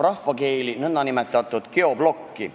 Rahvakeeli öelduna puudutab ta nn geoblokki.